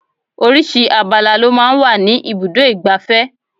Oríṣiríṣi abala lọ máa ń wà ní ibùdó igbàfẹ́.